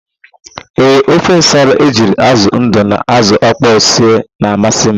Ee, ofe nsala ejiri ázụ̀ ndụ na ázụ̀ ọkpọọ sie na-amasị m.